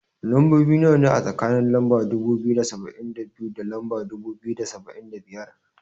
Lambobi nawa ne, a tsakanin lamba dubu biyu da saba'in da biyu, da lamba dubu biyu da saba'in da biyar.